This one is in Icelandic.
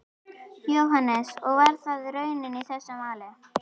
Jóhannes: Og var það raunin í þessu máli?